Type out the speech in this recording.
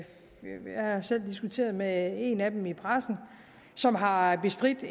selv diskuteret med en af dem i pressen som har bestridt